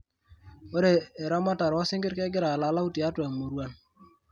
Ore eramatare osingir kegira alalau tiatua muruan.